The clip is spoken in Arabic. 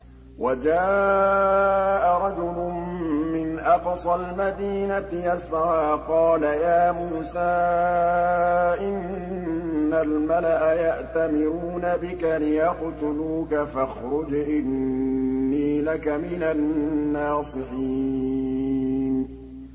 وَجَاءَ رَجُلٌ مِّنْ أَقْصَى الْمَدِينَةِ يَسْعَىٰ قَالَ يَا مُوسَىٰ إِنَّ الْمَلَأَ يَأْتَمِرُونَ بِكَ لِيَقْتُلُوكَ فَاخْرُجْ إِنِّي لَكَ مِنَ النَّاصِحِينَ